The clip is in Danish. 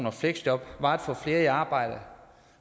og fleksjob var at få flere i arbejde